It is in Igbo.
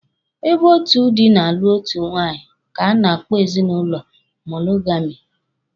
Ebe otu dị na-alụ otu nwaanyị ka a na-akpọ ezinụlọ monogami.